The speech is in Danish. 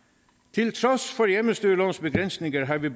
til trods for hjemmestyrelovens begrænsninger har vi